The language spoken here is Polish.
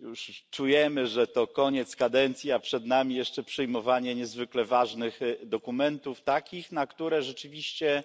Już czujemy, że to koniec kadencji, a przed nami jeszcze przyjmowanie niezwykle ważnych dokumentów, takich, na które rzeczywiście